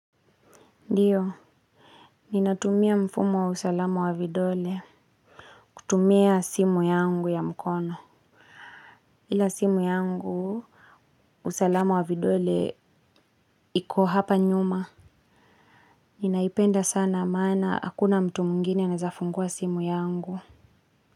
Ndio, ninatumia mfumo wa usalamu wa vidole, kutumia simu yangu ya mkono. Ila simu yangu, usalamu wa vidole iko hapa nyuma. Ninaipenda sana, maana, hakuna mtu mwingine anaweza fungua simu yangu.